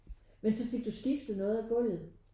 Men så fik du skiftet noget af gulvet?